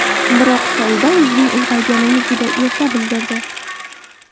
Biroq Saida o‘zining ulg‘ayganini juda erta bildirdi.